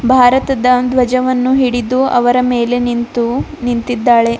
ಭಾರತದ ಧ್ವಜವನ್ನು ಹಿಡಿದು ಅವರ ಮೇಲೆ ನಿಂತು ನಿಂತಿದ್ದಾಳೆ.